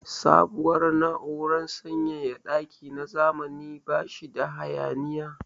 Sabuwar na'urar sanyaya daki na zamani ba shi da hayaniya.